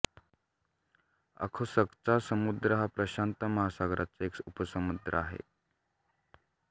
ओखोत्स्कचा समुद्र हा प्रशांत महासागराचा एक उपसमुद्र आहे